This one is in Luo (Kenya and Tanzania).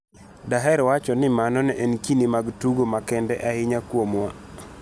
"Daher wacho ni mano ne en kinde mag tugo makende ahinya kuomwa.